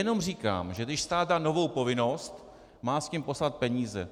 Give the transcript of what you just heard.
Jenom říkám, že když stát dá novou povinnost, má s tím poslat peníze.